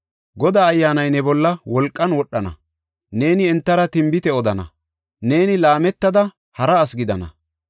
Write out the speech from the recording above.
Godaa Ayyaanay ne bolla wolqan wodhana; neeni entara tinbite odana; neeni laametada hara asi gidana.